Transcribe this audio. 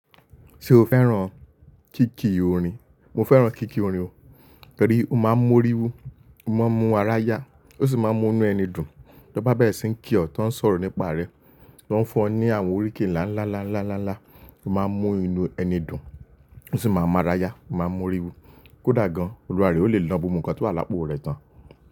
Ṣé o fẹ́ràn kíkí orin? Mo fẹ́ràn kíkí orin o. Torí ó máa ń mú ori wu, ó máa ń mú ara yá, ó sì máa ń mú inú ẹni dùn. Bó bá bèrè sì ń kí ọ tó ń sọ̀rọ̀ nípa rẹ, tó ń fún ọ ní àwọn oríkì ńlá ńlá ńlá ńlá ńlá ńlá, ó máa ń mú inú ẹni dùn, ó sì máa ń mú ara yá, ó máa ń mú ori wu. Kódà gan-an, Olúwa rẹ̀ ó lè na gbogbo nkan tó wà lápò rẹ̀ tán.